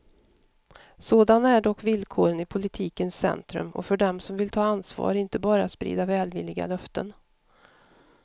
Sådana är dock villkoren i politikens centrum och för dem som vill ta ansvar, inte bara sprida välvilliga löften.